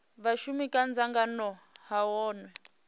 vhashumi kha dzangano ha hunwe